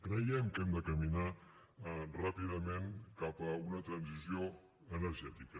creiem que hem de caminar ràpidament cap a una transició energètica